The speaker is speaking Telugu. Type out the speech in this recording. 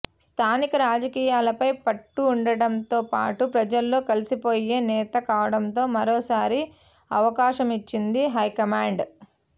స్థానిక రాజకీయాలపై పట్టు ఉండడంతో పాటు ప్రజల్లో కలిసిపోయే నేత కావడంతో మరోసారి అవకాశమిచ్చింది హైకమాండ్